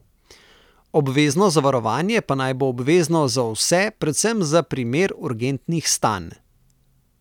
Obvezno zavarovanje pa naj bo obvezno za vse predvsem za primer urgentnih stanj.